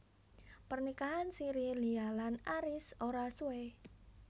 Pernikahan siri Lia lan Aries ora suwé